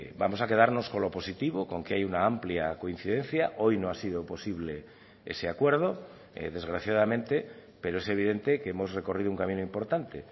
vamos a quedarnos con lo positivo con que hay una amplia coincidencia hoy no ha sido posible ese acuerdo desgraciadamente pero es evidente que hemos recorrido un camino importante